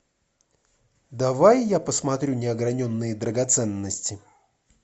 давай я посмотрю неограненные драгоценности